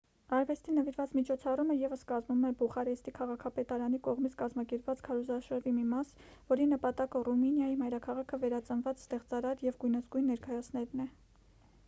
արվեստին նվիրված միջոցառումը ևս կազմում է բուխարեստի քաղաքապետարանի կողմից կազմակերպված քարոզարշավի մի մաս որի նպատակը ռումինիայի մայրաքաղաքը վերածնված ստեղծարար և գույնզգույն ներկայացնելն է